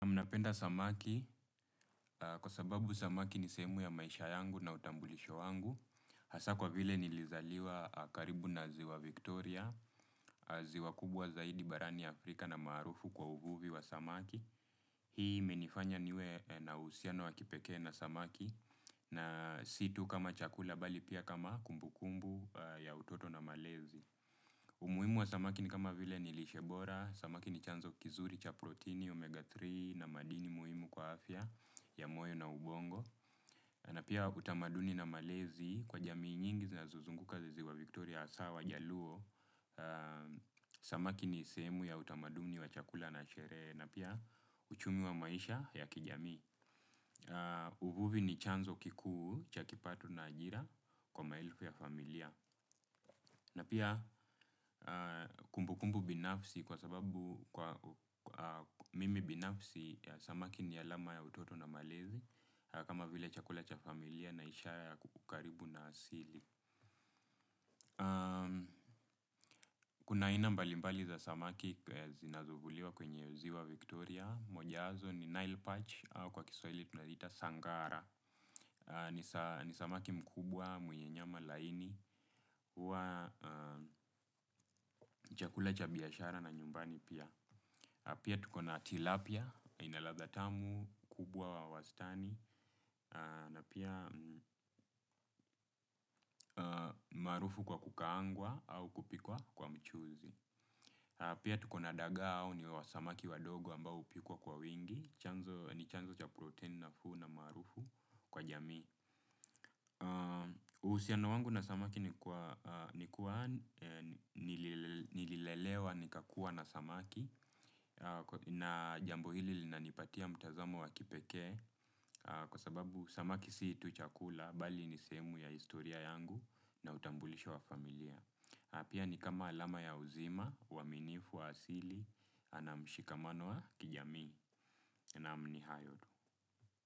Mimi napenda samaki, kwa sababu samaki ni sehemu ya maisha yangu na utambulisho wangu, hasa kwa vile nilizaliwa karibu na ziwa Victoria, ziwa kubwa zaidi barani Afrika na maarufu kwa uvuvi wa samaki. Hii imenifanya niwe na uhusiano wa kipekee na samaki, na si tu kama chakula bali pia kama kumbukumbu ya utoto na malezi. Umuhimu wa samaki ni kama vile nilishe bora, samaki ni chanzo kizuri cha proteini omega tatu na madini muhimu kwa afya ya moyo na ubongo. Na pia utamaduni na malezi kwa jamii nyingi zinazozunguka ziwa Victoria hasa wajaluo. Samaki ni sehemu ya utamaduni wa chakula na sherehe na pia uchumi wa maisha ya kijamii. Uvuvi ni chanzo kikuu cha kipato na ajira kwa maelfu ya familia. Na pia kumbukumbu binafsi kwa sababu kwa mimi binafsi, samaki ni alama ya utoto na malezi, kama vile chakula cha familia na ishara ya kukaribu na asili. Kuna aina mbalimbali za samaki zinazovuliwa kwenye ziwa Victoria, moja yazo ni Nile Parch au kwa kiswahili tunazita Sangara. Ni samaki mkubwa mwenye nyama laini wa chakula cha biashara na nyumbani pia. Pia tukona tilapia, ina ladha tamu, kubwa wa wastani, na pia umaarufu kwa kukaangwa au kupikwa kwa mchuzi. Pia tukona daga au ni wasamaki wadogo ambao hupikwa kwa wingi, ni chanzo cha protein nafuu na marufu kwa jami. Uhusiano wangu na samaki ni kwa nililelewa nikakua na samaki na jambo hili linanipatia mtazamo wa kipekee kwa sababu samaki si tu chakula bali nisehemu ya historia yangu na utambulisho wa familia. Na pia ni kama alama ya uzima, uaminifu wa asili na mshikamano wa kijamii naam ni hayo tu.